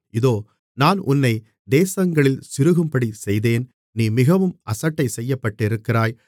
இதோ நான் உன்னை தேசங்களில் சிறுகும்படிச் செய்தேன் நீ மிகவும் அசட்டை செய்யப்பட்டிருக்கிறாய்